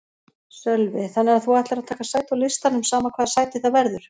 Sölvi: Þannig að þú ætlar að taka sæti á listanum sama hvaða sæti það verður?